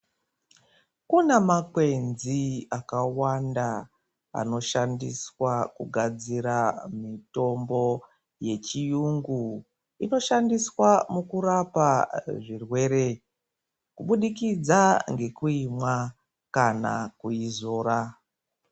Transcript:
Kuna makwenzi akawanda anoshandiswa kunasira mitombo yechiyungu inoshandiswa mukurapa zvirwere kubudikidza ngekuimwa kana kuidzora.